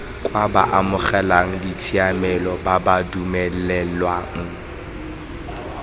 kwa baamogeladitshiamelo ba ba dumelelwang